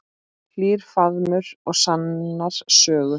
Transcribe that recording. Hlýr faðmur og sannar sögur.